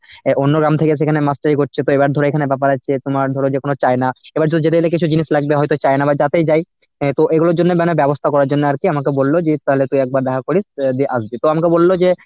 অ্যাঁ অন্য গ্রাম থেকে সেখানে master ই করছে তো এবার ধরো এখানে ব্যাপার আছে তোমার ধরো যেকোনো চায় না, এবার ধরো যেতে গেলে কিছু জিনিস লাগবে হয়তো চায় না বা যাতেই যাই আহ তো এগুলোর জন্য মানে ব্যবস্থা করার জন্য আর কি আমাকে বলল যে তাহলে তুই একবার দেখা করিস অ্যাঁ আসবি তো আমাকে বলল যে,